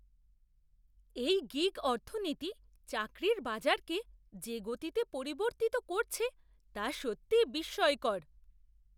এই গিগ অর্থনীতি চাকরির বাজারকে যে গতিতে পরিবর্তিত করছে তা সত্যিই বিস্ময়কর।